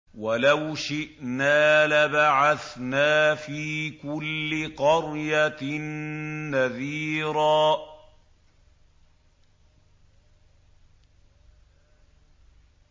وَلَوْ شِئْنَا لَبَعَثْنَا فِي كُلِّ قَرْيَةٍ نَّذِيرًا